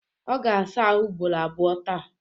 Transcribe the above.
Ọ ga-asa ahụ ugboro abụo taa.